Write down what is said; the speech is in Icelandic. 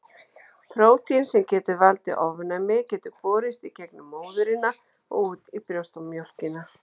Prótín sem getur valdið ofnæmi getur borist í gegnum móðurina og út í brjóstamjólkina.